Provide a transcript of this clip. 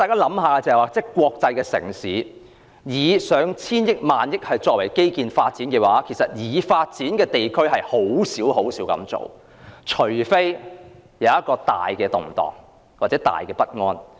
以國際城市來說，花上千億元或萬億元在基建發展，在已發展地區中實屬少數，除非國內出現很大的動盪或不安。